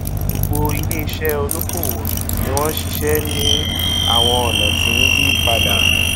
gbogbo ilé iṣẹ olókoòwò ni wọn ṣiṣẹ ní awọn ọnà ti ń yí padà